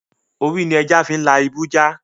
Orí ni ẹja fi ń la ibú ja